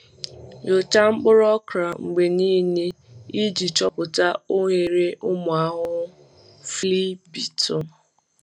Nyochaa mkpụrụ okra mgbe niile iji chọpụta oghere ụmụ ahụhụ flea beetle.